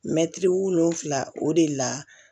Mɛtiri wolonwula o de la